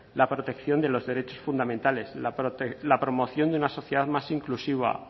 la protección de los derechos fundamentales la promoción de una sociedad más inclusiva